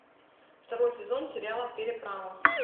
второй сезон сериала переправа